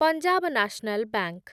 Punjab national ବାଙ୍କ